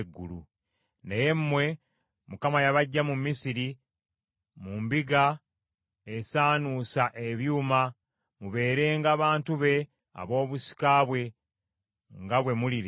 Naye mmwe, Mukama yabaggya mu Misiri, mu mbiga esaanuusa ebyuma, mubeerenga bantu be ab’obusika bwe, nga bwe muli leero.